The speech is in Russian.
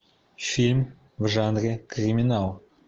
фильм в жанре криминал